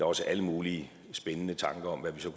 også alle mulige spændende tanker om hvad vi så